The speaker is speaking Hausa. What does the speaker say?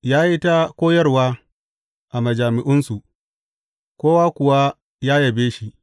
Ya yi ta koyarwa a majami’unsu, kowa kuwa ya yabe shi.